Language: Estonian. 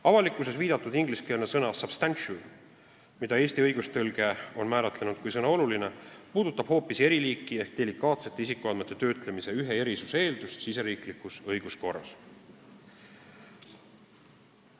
Avalikkuses viidatud ingliskeelne sõna substantial, mida Eesti õigustõlge on määratlenud kui sõna "oluline", puudutab hoopis eriliiki ehk delikaatsete isikuandmete töötlemise ühe erisuse eeldust riigisiseses õiguskorras.